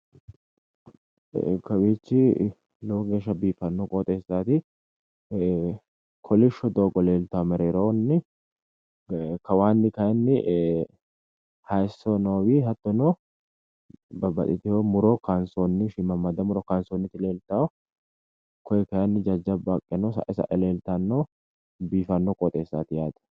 Kawiichi lowo geesha biifanno qooxeessaati kolisho doogo leeltanno mereeroonni kawanni kayinni hayisso noowi hattono babbbaxxitino dani muro kansoonniti leeltanno koye kayinni jajjabba haqqeno sa'e sa'e leeltanno biifanno qooxeessaati yaate